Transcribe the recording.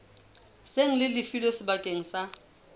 seng le lefilwe bakeng sa